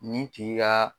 Nin tigi ka